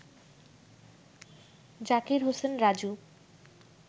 Zakir Hossain Raju